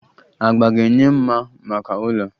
Agba ga-enye mma maka ụlọ.